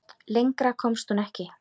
Lengra komst hún ekki.